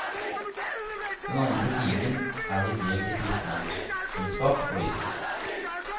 Den andre timen er de delt i kristendomskunnskap og livssyn.